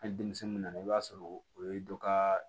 Hali denmisɛnninw nana i b'a sɔrɔ o ye dɔ ka